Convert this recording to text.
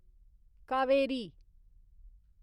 Kaveri